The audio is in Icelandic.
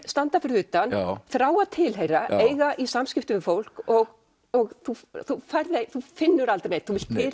standa fyrir utan þrá að tilheyra eiga í samskiptum við fólk og og þú finnur aldrei neinn þú vilt